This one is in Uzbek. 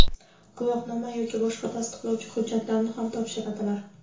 guvohnoma yoki boshqa tasdiqlovchi hujjatlarni ham topshiradilar.